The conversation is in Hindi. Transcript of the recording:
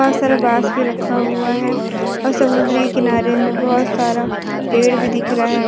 बहुत सारा बांस भी रखा हुआ है और समुद्री किनारे में बहुत सारा पेड़ भी दिख रहा है|